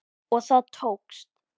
Og það tókst!